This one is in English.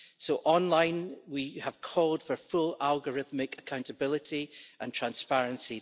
So online, we have called for full algorithmic accountability and transparency.